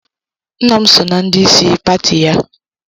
Nna m so na ndị isi pati ya.